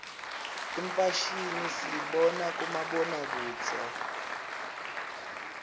imfashimi siyibona kubomabonakudze